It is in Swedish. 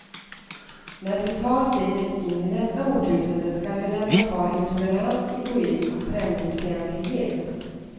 När vi tar steget in i nästa årtusende skall vi lämna kvar intolerans, egoism och främlingsfientlighet.